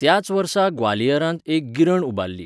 त्याच वर्सा ग्वालियरांत एक गिरण उबारली.